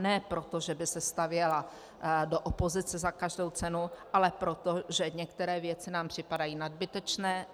Ne proto, že by se stavěla do opozice za každou cenu, ale proto, že některé věci nám připadají nadbytečné.